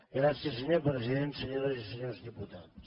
gràcies senyor president senyores i senyors diputats